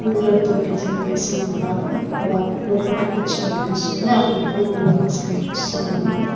పువ్వులతో డిజైన్ చేసి ఉన్నారు ఇక్కడ లోపట ఫ్రిడ్జ్ కనిపిస్తూంది